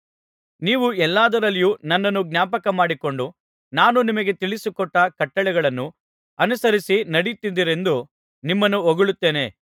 ನೀವು ಎಲ್ಲಾದರಲ್ಲಿಯೂ ನನ್ನನ್ನು ಜ್ಞಾಪಕಮಾಡಿಕೊಂಡು ನಾನು ನಿಮಗೆ ತಿಳಿಸಿಕೊಟ್ಟ ಕಟ್ಟಳೆಗಳನ್ನು ಅನುಸರಿಸಿ ನಡೆಯುತ್ತೀರೆಂದು ನಿಮ್ಮನ್ನು ಹೊಗಳುತ್ತೇನೆ